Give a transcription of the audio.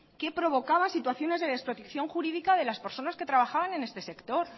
que provocaba situaciones de desprotección jurídica de la personas que trabajaban en este sector